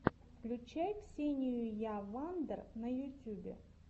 включай ксениюя вандер на ютюбе